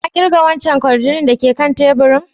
Ka kirga wancan kwarjini da ke kan tabur?